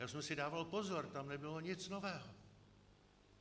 Já jsem si dával pozor, tam nebylo nic nového.